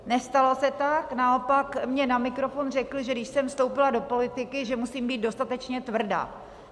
Nestalo se tak, naopak mně na mikrofon řekl, že když jsem vstoupila do politiky, že musím být dostatečně tvrdá.